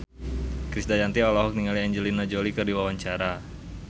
Krisdayanti olohok ningali Angelina Jolie keur diwawancara